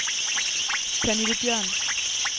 Pernille Bjørn